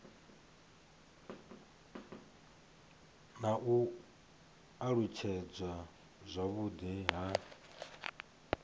na u alutshedzwa zwavhudi ha